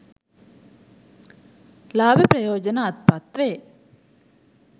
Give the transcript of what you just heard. ලාභ ප්‍රයෝජන අත්පත් වේ.